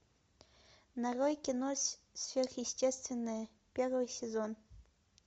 нарой кино сверхъестественное первый сезон